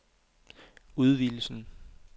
udvidelsen